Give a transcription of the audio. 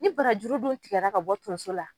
Ni barajuru don tigɛra ka bɔ tonso la